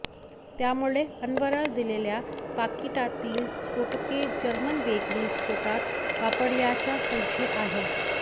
त्यामुळे अन्वरला दिलेल्या पाकिटातील स्फोटके जर्मन बेकरी स्फोटात वापरल्याचा संशय आहे